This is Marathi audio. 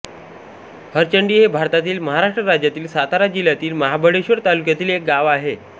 हरचंडी हे भारतातील महाराष्ट्र राज्यातील सातारा जिल्ह्यातील महाबळेश्वर तालुक्यातील एक गाव आहे